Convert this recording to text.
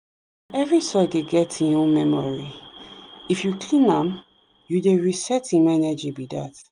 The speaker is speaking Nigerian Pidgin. every soil dey get hin own memory if you clean am you dey reset hin energy be that.